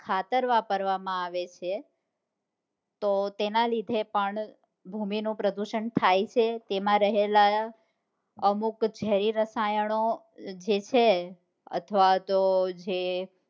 ખાતર વાપરવામાં આવે છે તો તેના લીધે પણ ભૂમિ નું પ્રદુષણ થાય છે તેમાં રહેલા અમુક જેરી રસાયણો જે છે અથવા તો જે